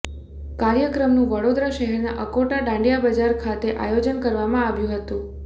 કાર્યક્રમનું વડોદરા શહેરના અકોટા દાંડિયાબજાર ખાતે આયોજન કરવામાં આવ્યું હતું